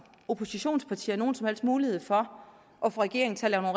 oppositionspartier ikke nogen som helst mulighed for at få regeringen til at